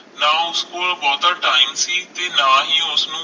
ਨਾ ਉਸ ਕੋਲ ਬਹੁਤਾ ਟਾਇਮ ਸੀ ਤੇ ਨਾ ਹੀ ਉਸਨੂੰ